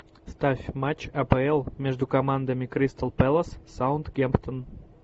ставь матч апл между командами кристал пэлас саутгемптон